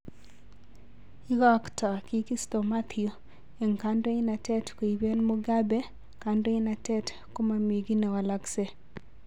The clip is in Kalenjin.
Ikotko kikisto Mathew eng kadoinatet koiben Mugabe kandoinatet komomikiy newoloksek